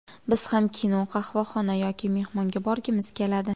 Biz ham kino, qahvaxona yoki mehmonga borgimiz keladi.